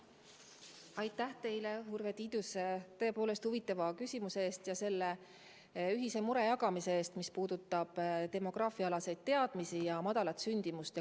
Aitäh teile, Urve Tiidus, tõepoolest huvitava küsimuse eest ja selle ühise mure jagamise eest, mis puudutab demograafiaalaseid teadmisi ja väikest sündimust.